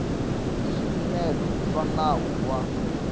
hi swipimelo swa nawu wa